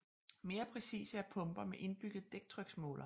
Mere præcise er pumper med indbygget dæktryksmåler